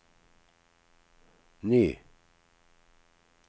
ny